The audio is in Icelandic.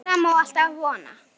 Það má alltaf vona.